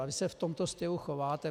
A vy se v tomto stylu chováte.